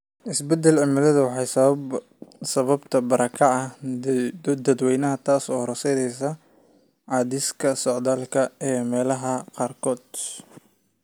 Isbeddelka cimiladu waxay sababtaa barakaca dadweynaha, taas oo horseedaysa cadaadiska socdaalka ee meelaha qaarkood.